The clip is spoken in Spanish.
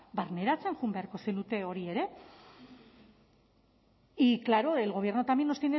barneratzen joan beharko zenukete hori ere y claro el gobierno también nos